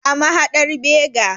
A mahadar Bega.